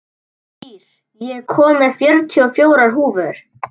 Ír, ég kom með fjörutíu og fjórar húfur!